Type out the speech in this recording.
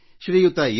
Shriyuta S